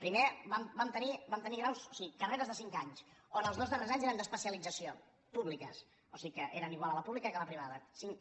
primer vam tenir graus o sigui carreres de cinc anys on els dos darrers anys eren d’especialització públiques o sigui que eren igual a la pública que a la privada cinc